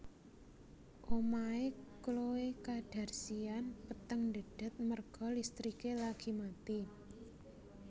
Omahe Khloe Kardashian peteng ndhedhet merga listrike lagi mati